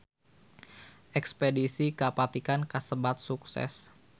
Espedisi ka Vatikan kasebat sukses